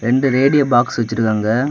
இந்த radio box வச்சிருக்காங்க.